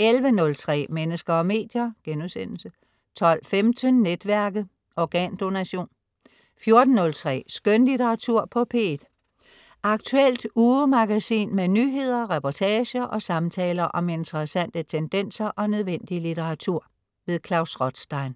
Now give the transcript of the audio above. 11.03 Mennesker og medier* 12.15 Netværket. Organdonation 14.03 Skønlitteratur på P1. Aktuelt ugemagasin med nyheder, reportager og samtaler om interessante tendenser og nødvendig litteratur. Klaus Rothstein